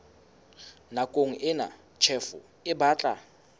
nakong ena tjhefo e batla